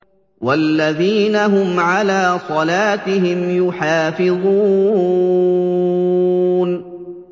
وَالَّذِينَ هُمْ عَلَىٰ صَلَاتِهِمْ يُحَافِظُونَ